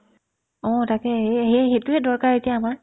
অ, তাকে সেই সেয়ে সেইটোয়ে দৰকাৰ এতিয়া আমাৰ